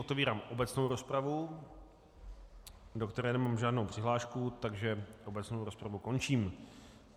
Otevírám obecnou rozpravu, do které nemám žádnou přihlášku, takže obecnou rozpravu končím.